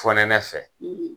Fɔnɛnɛ fɛ